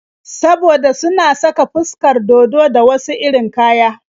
Saboda suna saka fuskar dodo da wasu irin kaya.